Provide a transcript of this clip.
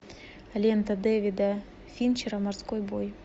лента дэвида финчера морской бой